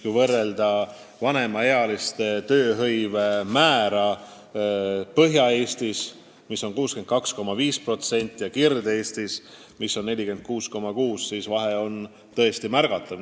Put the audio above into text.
Kui võrrelda vanemaealiste tööhõivet Põhja-Eestis, mille näitaja on 62,5%, ja Kirde-Eestis, kus see on 46,6%, siis vahe on märgatav.